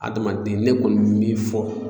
Adamaden ne kɔni bɛ min fɔ